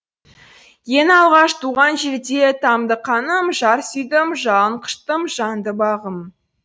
ең алғаш туған жерде тамды қаным жар сүйдім жалын құштым жанды бағым